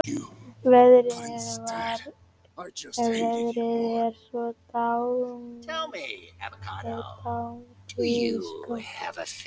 Veðrið er svo dáindisgott.